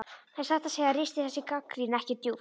En satt að segja ristir þessi gagnrýni ekki djúpt.